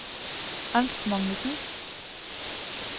Ernst Magnussen